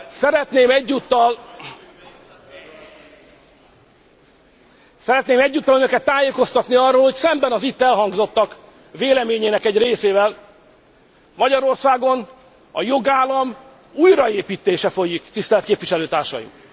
Szeretném egyúttal önöket tájékoztatni arról, hogy szemben az itt elhangzottak véleményének egy részével, Magyarországon a jogállam újraépítése folyik, tisztelt képviselőtársaim!